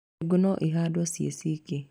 Ndengũ no ihandwo ciĩ ciki.